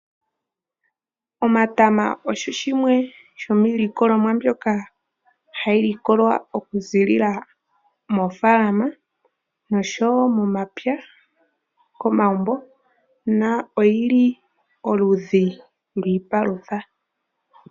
Omatama ogo gamwe gomiilikolomwa mbyoka hayi likolwa okuziila moofaalama noshowo momapya komagumbo noyi li oludhi lwiipalutha.